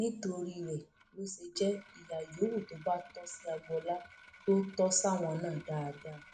nítorí rẹ ló ṣe jẹ ìyà yòówù tó bá tọ sí agboola tó tọ sáwọn náà dáadáa